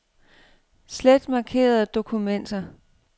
Slet markerede dokumenter.